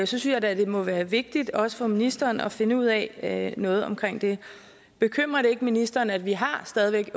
synes jeg da at det må være vigtigt også for ministeren at finde ud af noget omkring det bekymrer det ikke ministeren at vi stadig